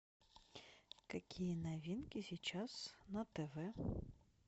какие новинки сейчас на тв